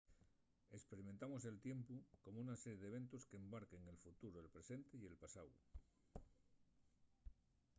esperimentamos el tiempu como una serie d'eventos qu'abarquen el futuru el presente y el pasáu